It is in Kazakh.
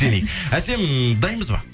әсем дайынбыз ба